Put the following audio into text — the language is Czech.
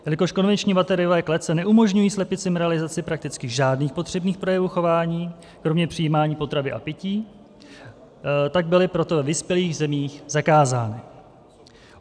Jelikož konvenční bateriové klece neumožňují slepicím realizaci prakticky žádných potřebných projevů chování kromě přijímání potravy a pití, tak byly proto ve vyspělých zemích zakázány.